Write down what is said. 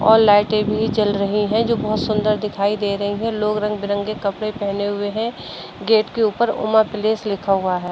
और लाइटे भी जल रही है जो बहोत सुंदर दिखाई दे रही है। लोग रंग बिरंगे कपड़े पहने हुए है। गेट के ऊपर उमा पैलिस लिखा हुआ है।